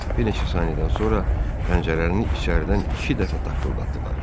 Bir neçə saniyədən sonra pəncərəni içəridən iki dəfə taqqıldatdılar.